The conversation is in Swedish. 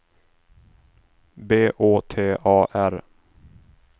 B Å T A R